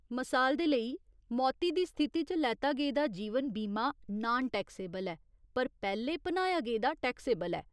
मसाल दे लेई, मौती दी स्थिति च लैता गेदा जीवन बीमा नान टैक्सेबल ऐ, पर पैह्‌ले भनाया गेदा टैक्सेबल ऐ।